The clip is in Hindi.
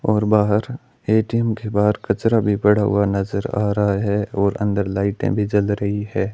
और बाहर ए_टी_एम के बाहर कचरा भी पड़ा हुआ नजर आ रहा है और अंदर लाइटें भी जल रही है।